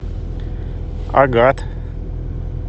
агат